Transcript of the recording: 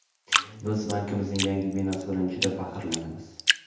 Biz bankimizning yangi binosi bilan juda faxrlanamiz.